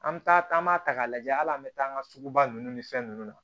An bɛ taa taama ta k'a lajɛ hali an bɛ taa an ka sugu ba ninnu ni fɛn nunnu na